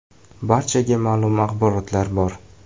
“Barchaga ma’lum axborotlar bor.